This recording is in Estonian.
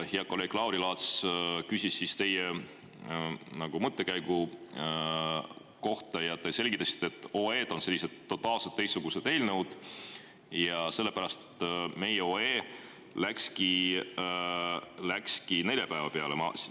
Hea kolleeg Lauri Laats küsis teie mõttekäigu kohta ja te selgitasite, et OE-d on sellised totaalselt teistsugused eelnõud ja sellepärast meie OE läkski neljapäeva peale.